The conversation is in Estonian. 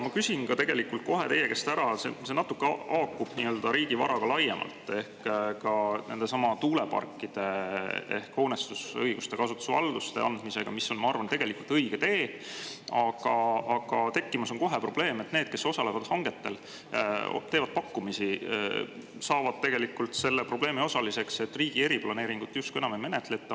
Ma küsin kohe teie käest ära, see natuke haakub riigi varaga laiemalt ehk ka nendesamade tuuleparkide hoonestusõiguste ja kasutusvalduste andmisega, mis on, ma arvan, õige tee, aga tekkimas on kohe probleem, et need, kes osalevad hangetel, teevad pakkumisi, saavad tegelikult selle probleemi osaliseks, et riigi eriplaneeringut justkui enam ei menetleta.